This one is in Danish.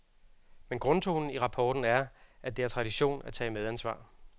Men grundtonen i rapporten er, at det er tradition at tage medansvar.